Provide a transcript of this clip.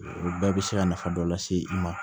O bɛɛ bɛ se ka nafa dɔ lase i ma